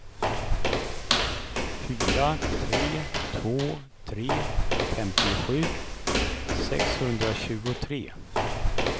fyra tre två tre femtiosju sexhundratjugotre